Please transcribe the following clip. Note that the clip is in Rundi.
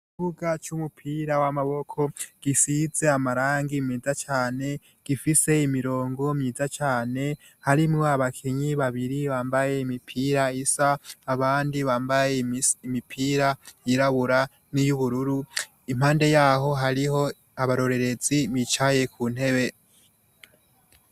ikibuga c'umupira w'amaboko gisize amarangi meza cane gifise imirongo myiza cyane harimwo abakenyi babiri bambaye imipira isa abandi bambaye imipira yirabura n'iy'ubururu impande yaho hariho abarorerezi bicaye ku ntebe.